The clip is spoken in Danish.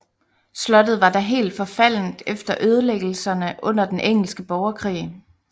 Slottet var da helt forfaldent efter ødelæggelserne under den Engelske Borgerkrig